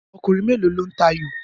Ọkùnrin mélòó lo ń tayò?